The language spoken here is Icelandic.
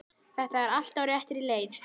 Þetta er allt á réttri leið.